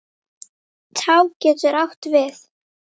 Tá getur átt við